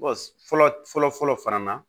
fɔlɔ fɔlɔ fɔlɔ fana na